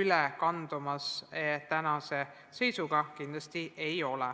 üle kandumas tänase seisuga kindlasti ei ole.